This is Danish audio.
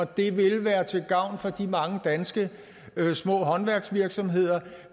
det vil være til gavn for de mange danske håndværksvirksomheder